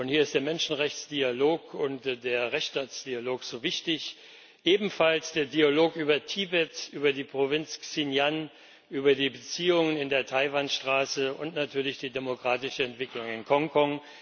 Hier ist der Menschenrechtsdialog und der Rechtsstaatsdialog so wichtig, ebenfalls der Dialog über Tibet, über die Provinz Xinjiang, über die Beziehungen in der Taiwan Straße und natürlich die demokratische Entwicklung in Hongkong.